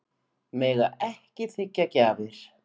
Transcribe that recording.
Mega ekki þiggja gjafir